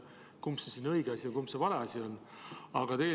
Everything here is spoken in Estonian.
Kumb siis on õige asi, kumb on vale asi?